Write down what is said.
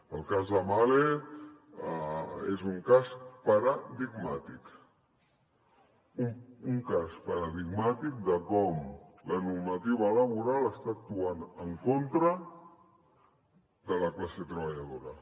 el cas de mahle és un cas paradigmàtic un cas paradigmàtic de com la normativa laboral actua en contra de la classe treballadora